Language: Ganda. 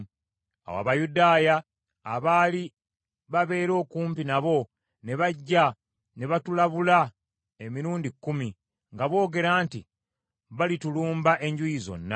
Awo Abayudaaya abaali babeera okumpi nabo ne bajja ne batulabula emirundi kkumi, nga boogera nti, “Balitulumba enjuuyi zonna.”